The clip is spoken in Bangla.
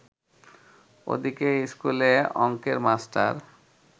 ওদিকে ইস্কুলে অঙ্কের মাস্টার